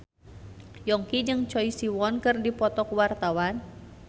Yongki jeung Choi Siwon keur dipoto ku wartawan